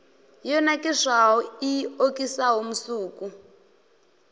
yo nakiswaho i okisaho musuku